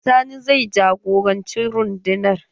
Sani zai jagoranci rundunar.